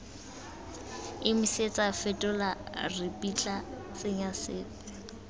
emisetsa fetola ripitla tsenya sepe